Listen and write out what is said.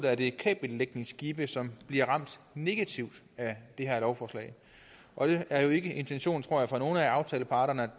er det kabellægningsskibe som bliver ramt negativt af det her lovforslag og det er jo ikke intentionen fra nogen af aftaleparternes